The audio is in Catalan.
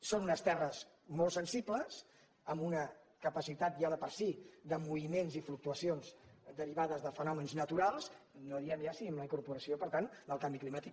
són unes terres molt sen·sibles amb una capacitat ja de per si de moviments i fluctuacions derivades de fenòmens naturals no diem ja si amb la incorporació per tant del canvi climàtic